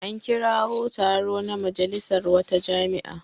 An kirawo taro na majalisar wata jami'a.